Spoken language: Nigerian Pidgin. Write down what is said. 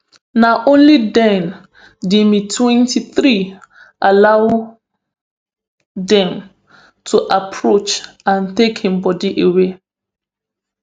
na only den di mtwenty-three allow dem to approach and take im body away